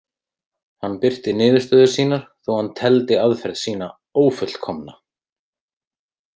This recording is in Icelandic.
Hann birti niðurstöður sínar, þó hann teldi aðferð sína „ófullkomna“.